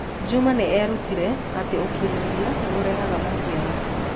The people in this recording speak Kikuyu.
Juma nĩ eerutire atĩ ũkirĩrĩria nĩ ũrehaga maciaro.